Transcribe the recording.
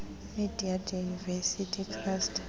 media diversity trust